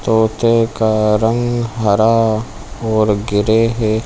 तोते का रंग हरा और ग्रे हैं।